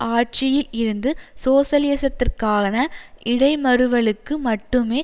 ஆட்சியில் இருந்து சோசலிசத்திற்கான இடைமருவலுக்கு மட்டுமே